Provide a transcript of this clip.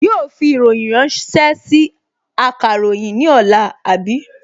Yóò fi ìròyìn ránṣẹ́ sí akàròyìn ní ọ̀la, àbí?